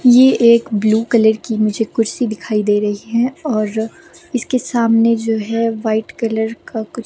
ये एक blue colour की मुझे कुर्सी दिखाई दे रही हैऔर इसके सामने जो हैवाइट कलर का कुछ --